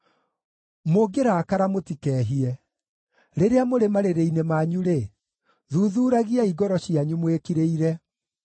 Mũngĩrakara mũtikehie; rĩrĩa mũrĩ marĩrĩ-inĩ manyu-rĩ, thuthuuragiai ngoro cianyu mwĩkirĩire.